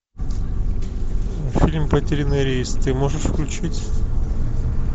фильм потерянный рейс ты можешь включить